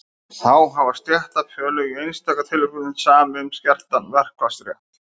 þá hafa stéttarfélög í einstaka tilfellum samið um skertan verkfallsrétt